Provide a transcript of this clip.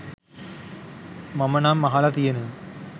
මම නම් අහලා තියෙන